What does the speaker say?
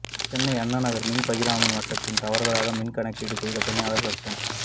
சென்னை அண்ணாநகர் மின் பகிர்மான வட்டத்தில் தவறுதலாக மின் கணக்கீடு செய்த பணியாளர் சஸ்பெண்ட்